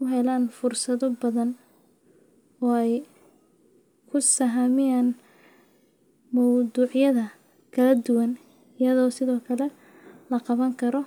u helaan fursado badan oo ay ku sahamiyaan mowduucyada kala duwan, iyadoo sidoo kale la qaban karo.